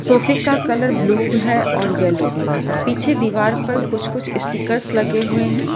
सोफे का colour blue है और येल्लो पीछे दीवार पर कुछ कुछ स्टिकर लगे हुए हैं।